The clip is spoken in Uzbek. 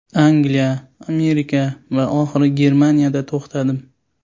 Angliya, Amerika va oxiri Germaniyada to‘xtadim.